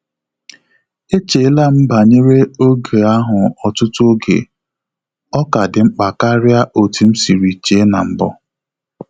E cheela m banyere oge ahụ ọtụtụ oge, ọ ka dị mkpa karịa otú m sịrị che na-mbụ